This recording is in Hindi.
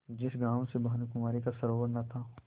जिस गॉँव से भानुकुँवरि का सरोवार न था